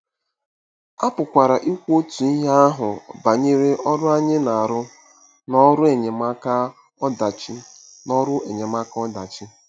A pụkwara ikwu otu ihe ahụ banyere ọrụ anyị na-arụ n'ọrụ enyemaka ọdachi n'ọrụ enyemaka ọdachi.